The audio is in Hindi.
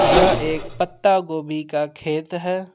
यह एक पत्ता गोभी का खेत है।